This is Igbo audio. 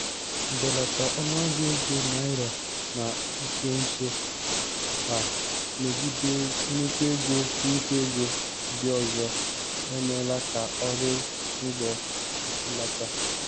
Mbelata ọnụahịa ego naịra na nso nso a megide nnukwu ego nnukwu ego ndị ọzọ emeela ka ọrụ ngo kwụsịlata.